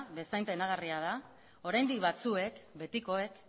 bezain penagarria da oraindik batzuek betikoek